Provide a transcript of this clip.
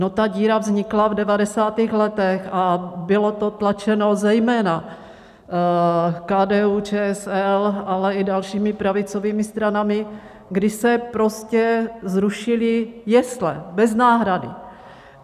No, ta díra vznikla v 90. letech a bylo to tlačeno zejména KDU-ČSL, ale i dalšími pravicovými stranami, když se prostě zrušily jesle, bez náhrady.